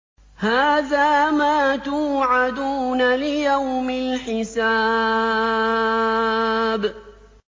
هَٰذَا مَا تُوعَدُونَ لِيَوْمِ الْحِسَابِ